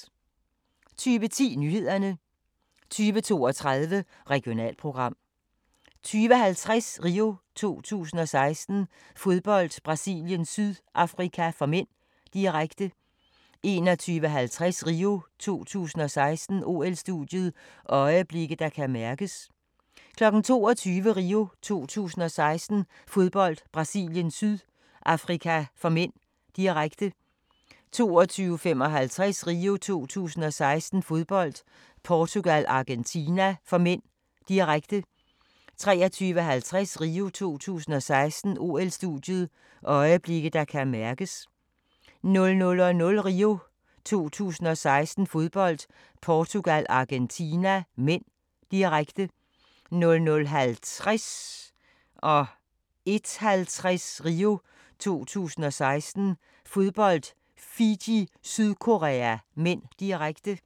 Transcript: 20:10: Nyhederne 20:32: Regionalprogram 20:50: RIO 2016: Fodbold, Brasilien-Sydafrika (m), direkte 21:50: RIO 2016: OL-studiet – øjeblikke, der kan mærkes 22:00: RIO 2016: Fodbold, Brasilien-Sydafrika (m), direkte 22:55: RIO 2016: Fodbold, Portugal-Argentina (m), direkte 23:50: RIO 2016: OL-studiet – øjeblikke, der kan mærkes 00:00: RIO 2016: Fodbold, Portugal-Argentina (m), direkte 00:50: RIO 2016: Fodbold, Fiji-Sydkorea (m), direkte 01:50: RIO 2016: Fodbold, Fiji-Sydkorea (m), direkte